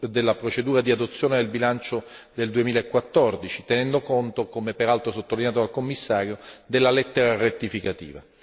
della procedura di adozione del bilancio del 2014, tenendo conto, come peraltro sottolineato dal Commissario, della lettera rettificativa.